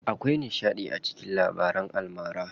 Akwai nishaɗi a cikin labaran almara.